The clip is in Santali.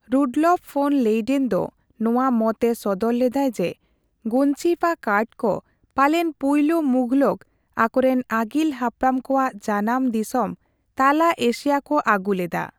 ᱨᱩᱰᱞᱚᱯᱷ ᱯᱷᱚᱱ ᱞᱮᱭᱰᱮᱱ ᱫᱚ ᱱᱚᱣᱟ ᱢᱚᱛ ᱮ ᱥᱚᱫᱚᱨ ᱞᱮᱫᱟᱭ ᱡᱮ ᱜᱚᱧᱡᱤᱯᱷᱟ ᱠᱟᱨᱰᱠᱚ ᱯᱟᱞᱮᱱ ᱯᱩᱭᱞᱩ ᱢᱩᱜᱷᱚᱞᱠᱚ ᱟᱠᱚᱨᱮᱱ ᱟᱹᱜᱤᱞ ᱦᱟᱯᱲᱟᱢ ᱠᱚᱣᱟᱜ ᱡᱟᱱᱟᱢ ᱫᱤᱥᱚᱢ ᱛᱟᱞᱟ ᱮᱥᱤᱭᱟᱹ ᱠᱚ ᱟᱹᱜᱩ ᱞᱮᱫᱟ ᱾